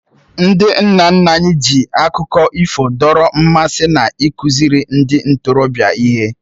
Ndị nna nna anyị ji akụkọ ifo dọrọ mmasị na ịkụziri ndị ntorobịa ihe